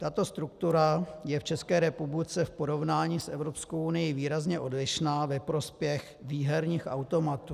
Tato struktura je v České republice v porovnání s Evropskou unií výrazně odlišná ve prospěch výherních automatů.